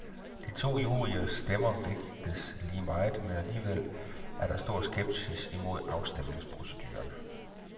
De to juryers stemmer vægtes lige meget, men alligevel er der stor skepsis mod afstemningsproceduren.